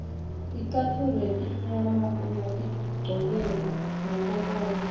ticatfulo letimnyama ungatigcokela ngakokonkhe